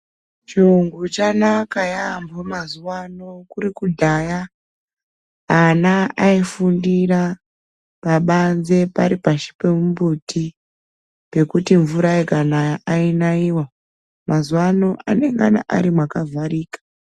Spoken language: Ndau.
Chringu chanaka yamho mazuva ano. Kuri kudhaya ana aifundira pabanze pari pashi pemumbuti pekuti mvura ikanaya ainaiwa .Mazuva ano anenge ari mwakavharika.